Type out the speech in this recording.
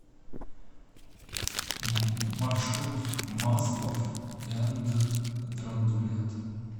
маршрут маслоф энд драндулет